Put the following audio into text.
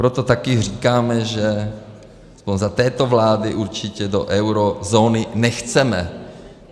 Proto taky říkáme, že - aspoň za této vlády - určitě do eurozóny nechceme.